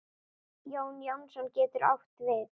Jón Jónsson getur átt við